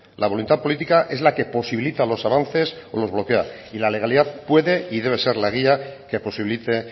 la voluntad política es la que posibilita los avances o los bloquea y la legalidad puedo y debe ser la guía que posibilite